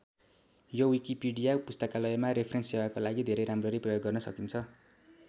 यो विकिपिडिया पुस्तकालयमा रेफरेन्स सेवाको लागि धेरै राम्ररी प्रयोग गर्न सकिन्छ।